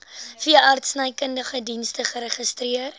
veeartsenykundige dienste geregistreer